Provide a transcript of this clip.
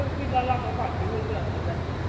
ਘੱਟ ਹੀ ਵਧੀਆ ਲੱਗਦਾ ਹੈ